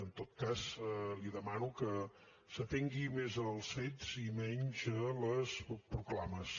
en tot cas li demano que s’atengui més als fets i menys a les proclames